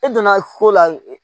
E donna ko la